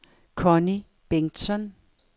Connie Bengtsson